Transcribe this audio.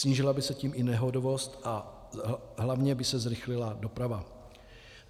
Snížila by se tím i nehodovost a hlavně by se zrychlila doprava.